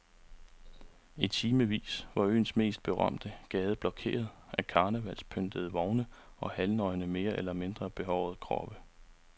I timevis var øens mest berømte gade blokeret af karnevalspyntede vogne og halvnøgne mere eller mindre behårede kroppe.